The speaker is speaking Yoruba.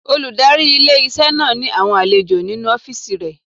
Olùdarí ilé-iṣẹ́ náà ní àwọn àlejò nínu ọ́fìsì rẹ̀